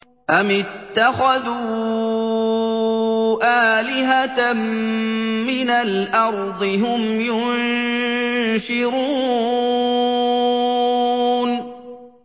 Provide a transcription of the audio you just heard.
أَمِ اتَّخَذُوا آلِهَةً مِّنَ الْأَرْضِ هُمْ يُنشِرُونَ